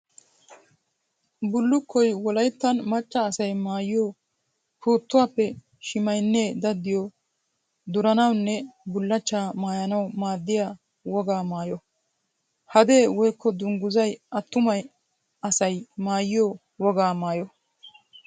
Bulukkoy wolayttan macca asay maayiyo puutuwaappe shimaynne daddiyo durannawunne bulachcha maayanawu maaddiya wogaa maayo. Hadee woykko dungguzzay atumay asay maayiyo wogaa maayo.